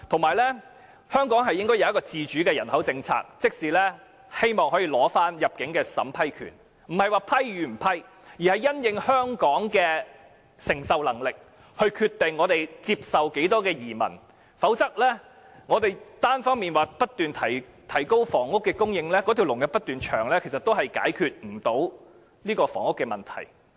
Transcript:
再者，香港應該訂立自主的人口政策，收回單程證審批權，這不是批或不批的問題，而是因應香港的承受能力來決定接受多少移民，否則我們單方面不斷提高房屋供應，但輪候人士卻不斷增加，也無法解決房屋問題。